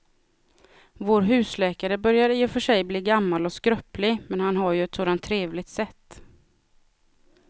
Vår husläkare börjar i och för sig bli gammal och skröplig, men han har ju ett sådant trevligt sätt!